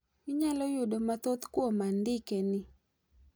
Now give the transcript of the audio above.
Inyalo yudo mathoth kuom andike ni.